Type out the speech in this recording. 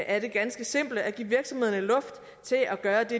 er det ganske simple at give virksomhederne luft til at gøre det